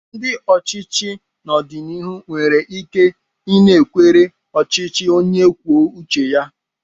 Ndị ochichi n'ọdịnihu nwere ike ịnakwere ọchịchị onye kwuo uche ya.